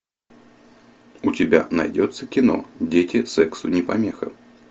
у тебя найдется кино дети сексу не помеха